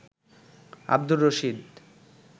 Abdur Rashid